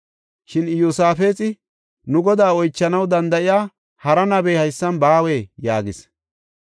Shin Iyosaafexi, “Nu Godaa oychanaw danda7iya hara nabey haysan baawee?” yaagis.